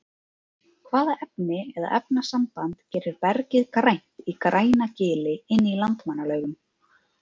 Hvaða efni eða efnasamband gerir bergið grænt í Grænagili inn í Landmannalaugum?